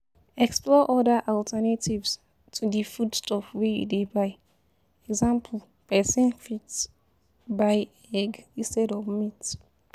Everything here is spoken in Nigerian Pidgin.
Explore other alternatives to di food stuff wey you dey buy e.g person fit buy egg insted of meat